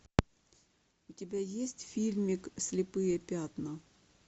у тебя есть фильм слепые пятна